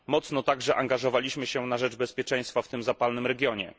Mocno także angażowaliśmy się na rzecz bezpieczeństwa w tym zapalnym regionie.